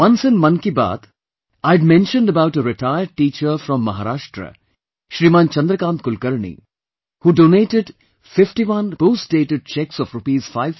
Once, in Mann Ki Baat, I had mentioned about a retired teacher from Maharashtra Shriman Chandrakant Kulkarni who donated 51 post dated cheques of Rs